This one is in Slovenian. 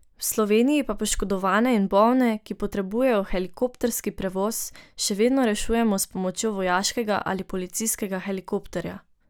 V Sloveniji pa poškodovane in bolne, ki potrebujejo helikopterski prevoz, še vedno rešujemo s pomočjo vojaškega ali policijskega helikopterja.